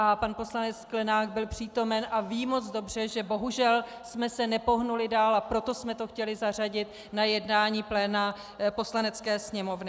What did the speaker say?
A pan poslanec Sklenák byl přítomen a ví moc dobře, že bohužel jsme se nepohnuli dál, a proto jsme to chtěli zařadit na jednání pléna Poslanecké sněmovny.